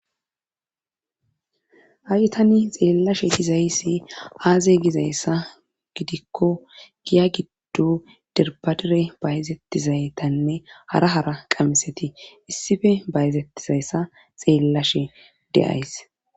ha7i tani xeellashe dizaysi aze gizayssa gidikko giya giddo derbadere bayzettizaytanne hara hara qamiseti issife bayzettizayssa xeellashe de7ays